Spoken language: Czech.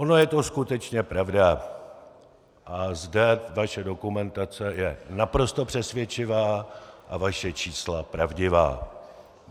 Ona je to skutečně pravda a zde vaše dokumentace je naprosto přesvědčivá a vaše čísla pravdivá.